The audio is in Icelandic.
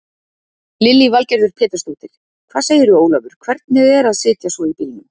Lillý Valgerður Pétursdóttir: Hvað segirðu Ólafur, hvernig er að sitja svo í bílnum?